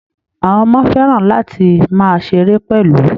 Àwọn ọmọ fẹ́ràn láti máa ṣeré pẹ̀lú